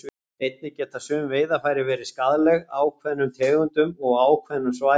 Einnig geta sum veiðarfæri verið skaðleg ákveðnum tegundum og á ákveðnum svæðum.